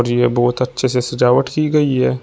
और जीमे बहोत अच्छे से सजावट की गई है।